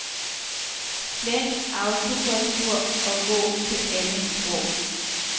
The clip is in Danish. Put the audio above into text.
Slet autokorrektur og gå til andet sprog.